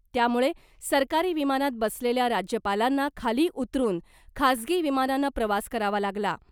त्यामुळे सरकारी विमानात बसलेल्या राज्यपालांना खाली उतरुन खासगी विमानानं प्रवास करावा लागला .